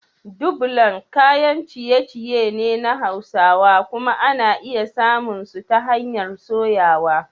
dubblan kayan ciye-ciye ne na Hausawa kuma ana iya samun su ta hanyar soyawa.